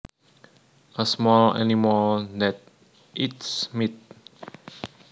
A small animal that eats meat